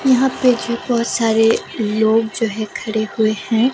यहाँ पे जो बहुत सारे लोग जो हैखड़े हुए हैं।